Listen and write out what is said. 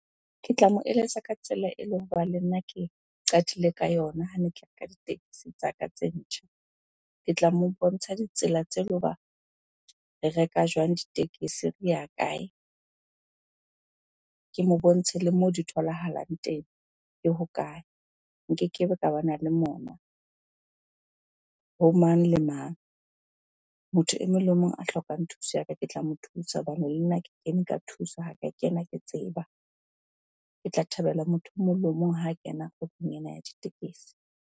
Ke tla mo eletsa ka tsela le nna ke qadile ka yona hane ke reka ditekesi tsa ka tse ntjha. Ke tla mo bontsha ditsela tse le hoba re reka jwang ditekesi? Re ya kae? Ke mo bontshe le moo di tholahalang teng ke hokae? Nkekebe ka bana le mona ho mang le mang. Motho e mong le mong a hlokang thuso ya ka, ke tla mo thusa hobane le nna ke kene ka thuso ha ka kena ke tseba. Ke tla thabela motho o mong le o mong ha kena kgwebong ena ya ditekesi.